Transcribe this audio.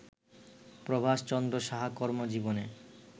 প্রভাষ চন্দ্র সাহা কর্মজীবনে